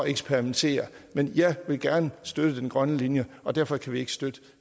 eksperimentere men jeg vil gerne støtte den grønne linje og derfor kan vi ikke støtte